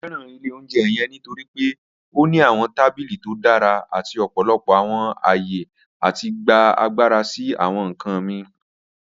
Mo fẹran ilẹ̀ ọ̀unjẹ́ yẹ̀ǹ nítorí pe ó ní awọn tabílí tó dára àti ọ̀pọ̀lọpọ̀ awọn ayé láti gbà agbára sí awọn nkàn mí.